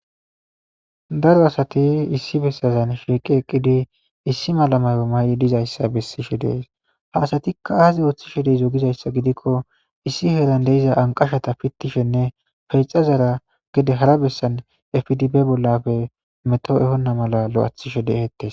daro asati issi bessazan shiiqi eqqidi issi malamayo may7i dizayssa bessishe dees haasatikka aazi ooththishe deizo gizayssa gidikko issi heeran deiza anqashata pittishenne pexazara gede hara bessan efdib bollafe meto ehonna mala lo7athishe deheettes